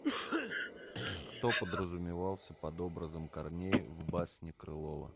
кто подразумевался под образом корней в басне крылова